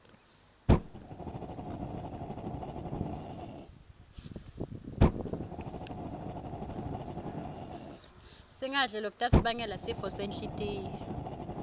singadli lokutasibangela sifo senhltiyo